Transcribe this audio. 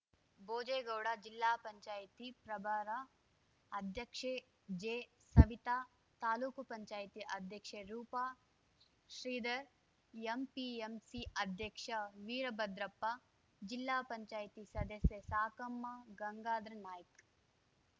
ಭೋಜೆಗೌಡ ಜಿಲ್ಲಾ ಪಂಚಾಯ್ತಿ ಪ್ರಭಾರ ಅಧ್ಯಕ್ಷೆ ಜೆಸವಿತ ತಾಲೂಕು ಪಂಚಾಯ್ತಿ ಅಧ್ಯಕ್ಷೆ ರೂಪ ಶ್ರೀಧರ್‌ ಎಂಪಿಎಂಸಿ ಅಧ್ಯಕ್ಷ ವೀರಭದ್ರಪ್ಪ ಜಿಲ್ಲಾ ಪಂಚಾಯ್ತಿ ಸದಸ್ಯೆ ಸಾಕಮ್ಮ ಗಂಗಾಧರ ನಾಯ್ಕ